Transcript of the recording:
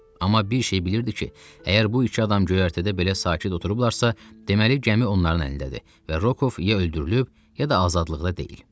Amma bir şey bilirdi ki, əgər bu iki adam göyərtədə belə sakit oturublarsa, deməli gəmi onların əlindədir və Rokov ya öldürülüb, ya da azadlıqda deyil.